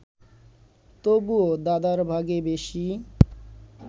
তবুও দাদার ভাগে বেশি